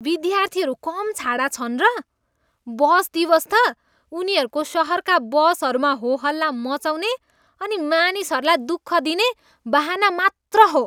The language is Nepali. विद्यार्थीहरू कम छाडा छन् र? बस दिवस त उनीहरूको सहरका बसहरूमा होहल्ला मचाउने अनि मानिसहरूलाई दुःख दिने बहाना मात्र हो।